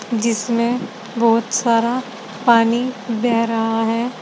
जिसमें बहुत सारा पानी बह रहा है।